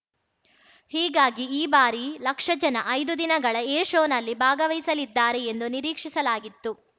ಹೀಗಾಗಿ ಈ ಬಾರಿ ಲಕ್ಷ ಜನ ಐದು ದಿನಗಳ ಏರ್‌ಶೋನಲ್ಲಿ ಭಾಗವಹಿಸಲಿದ್ದಾರೆ ಎಂದು ನಿರೀಕ್ಷಿಸಲಾಗಿತ್ತು